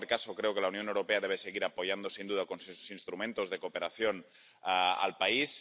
Yo, en cualquier caso, creo que la Unión Europea debe seguir apoyando, sin duda, con sus instrumentos de cooperación al país.